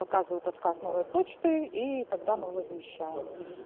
показывает отказ новой почты и тогда мы возмещаем